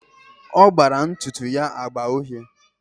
Ọ gbara ntụtụ ya agba uhie.